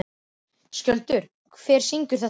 Skjöldur, hver syngur þetta lag?